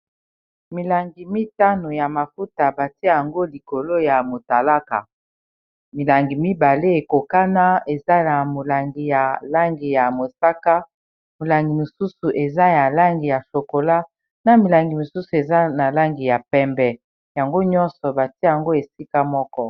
milangi mitano ya mafuta batia yango likolo ya motalaka milangi mibale ekokana eza na molangi ya langi ya mosaka molangi mosusu eza ya langi ya shokola na milangi mosusu eza na langi ya pembe yango nyonso batia yango esika moko